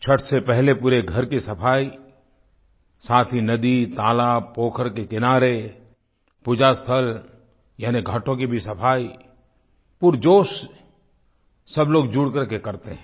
छठ से पहले पूरे घर की सफाई साथ ही नदी तालाब पोखर के किनारे पूजास्थल यानि घाटों की भी सफाई पूरे जोश से सब लोग जुड़ करके करते हैं